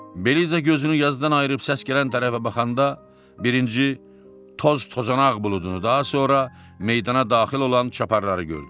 Beliza gözünü yazıdan ayırıb səs gələn tərəfə baxanda birinci toz-tozanaq buludunu, daha sonra meydana daxil olan çaparları gördü.